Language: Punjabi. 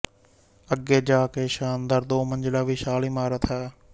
ਅੱਗੇ ਜਾ ਕੇ ਸ਼ਾਨਦਾਰ ਦੋ ਮੰਜ਼ਿਲਾ ਵਿਸ਼ਾਲ ਇਮਾਰਤ ਹੈ